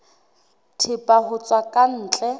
thepa ho tswa ka ntle